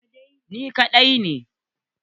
Ni kadai ne